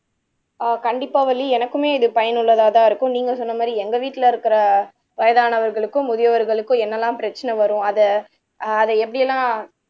ஆஹ் கண்டிப்பா வள்ளி எனக்குமே இது பயனுள்ளதா தான் இருக்கும் நீங்க சொன்ன மாதிரி எங்க வீட்ல இருக்குற வயதானவர்களுக்கும் முதியவர்களுக்கும் என்னலாம் பிரச்சனை வரும் அத அத எப்டி எல்லாம்